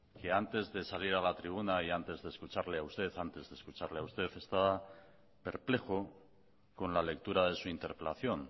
que antes de salir a la tribuna y antes de escucharle a usted estaba perplejo con la lectura de su interpelación